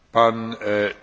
Elnök úr!